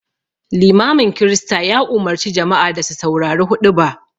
Limamin Kirista ya umarci jama'a da su saurari huɗuba